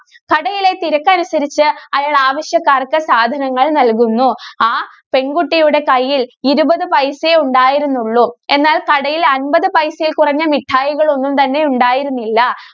കടയിലെ തിരക്കനുസരിച്ച് അയാള്‍ ആവശ്യക്കാര്‍ക്ക് സാധനങ്ങള്‍ നല്‍കുന്നു. ആ പെണ്‍കുട്ടിയുടെ കയ്യിൽ ഇരുപത് പൈസയെ ഉണ്ടായിരുന്നുള്ളൂ. എന്നാല്‍ കടയില്‍ അൻപതു പൈസയില്‍ കുറഞ്ഞ മിഠായികളൊന്നും തന്നെ ഉണ്ടായിരുന്നില്ല.